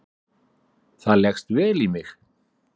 Það leggst vel í mig